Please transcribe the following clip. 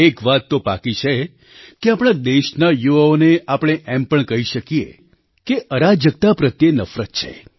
એક વાત તો પાકી છે કે આપણા દેશના યુવાઓને આપણે એમ પણ કહી શકીએ કે અરાજકતા પ્રત્યે નફરત છે